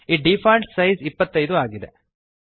ಈ default size 25 ಆಗಿದೆ